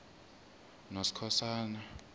noskhosana